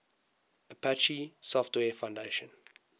apache software foundation